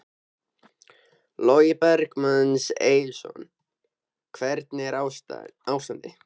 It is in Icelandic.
Logi Bergmann Eiðsson: Hvernig er ástandið?